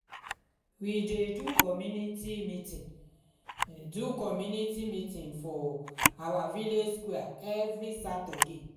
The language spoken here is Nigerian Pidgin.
we dey do community meeting do community meeting for our village square every saturday.